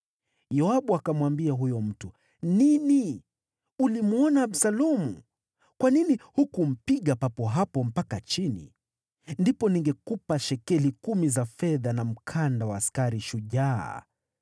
Yoabu akamwambia huyo mtu, “Nini! Ulimwona Absalomu? Kwa nini hukumpiga papo hapo mpaka chini? Ndipo ningekupa shekeli kumi za fedha na mkanda wa askari shujaa.”